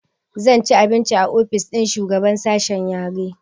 Zan ci abinci a ofis ɗin shugaban sashe yare